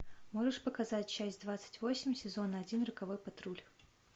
можешь показать часть двадцать восемь сезон один роковой патруль